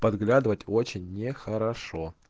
подглядывать очень нехорошо